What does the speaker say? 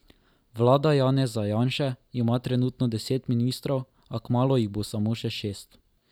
Vlada Janeza Janše ima trenutno deset ministrov, a kmalu jih bo samo še šest.